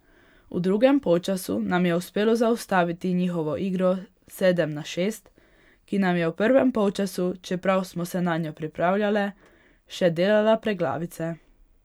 V drugem polčasu nam je uspelo zaustaviti njihovo igro sedem na šest, ki nam je v prvem polčasu, čeprav smo se nanjo pripravljale, še delala preglavice.